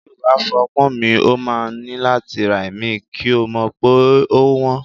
Tí o bá fọ́ ọpọ́n mi, o máa ní láti ra ìmí, kí o mọ̀ wípé ówọ́n.